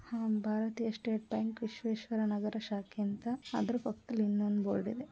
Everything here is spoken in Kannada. ಅಹ್ ಭಾರತೀಯ ಸ್ಟೇಟ್ ಬ್ಯಾಂಕ್ ವಿಶ್ವೇಶ್ವರ ನಗರ ಶಾಖೆ ಅಂತ ಅದ್ರ್ ಪಕ್ದಲ್ ಇನ್ನೊಂದ್ ಬೊರ್ಡ್ ಇದೆ --